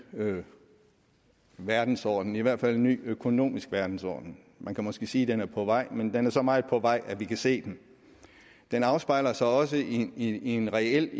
verdensorden i hvert fald en ny økonomisk verdensorden man kan måske sige den er på vej men den er så meget på vej at vi kan se den den afspejler sig også i en reel